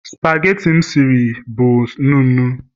spageti m siri sie bụ nnu nnu